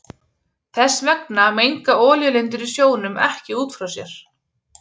Þess vegna menga olíulindir í sjónum ekki út frá sér.